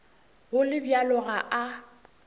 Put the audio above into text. go le bjalo ga a